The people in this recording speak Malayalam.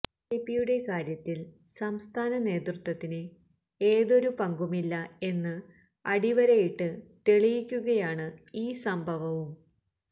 ബിജെപിയുടെ കാര്യത്തിൽ സംസ്ഥാന നേതൃത്വത്തിന് ഏതൊരു പങ്കുമില്ല എന്ന് അടിവരയിട്ട് തെളിയിക്കുകയാണ് ഈ സംഭവവും